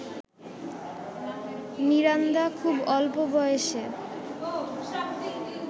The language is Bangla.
মিরান্দা খুব অল্প বয়সে